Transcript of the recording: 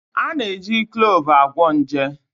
A na-eji Kluuv agwọ nje